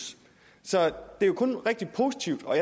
så det er jo kun rigtig positivt og